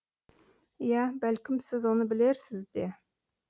иә бәлкім сіз оны білерсіз де